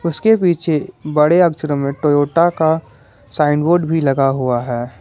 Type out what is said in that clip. उसके पीछे बड़े अक्षरों में टोयोटा का साइन बोर्ड भी लगा हुआ है।